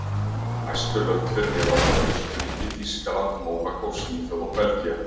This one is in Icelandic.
Næstu lönd fyrir neðan voru Austurríki, Þýskaland, Mónakó, Svíþjóð og Belgía.